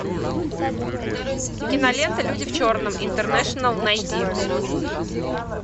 кинолента люди в черном интернэшнл найди